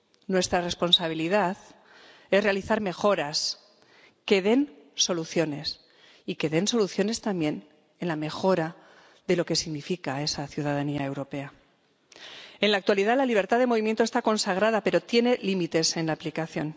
Nuestra responsabilidad es realizar mejoras que den soluciones, y que den soluciones también en la mejora de lo que significa esa ciudadanía europea. En la actualidad, la libertad de movimiento está consagrada, pero tiene límites en la aplicación.